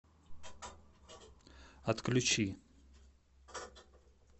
отключи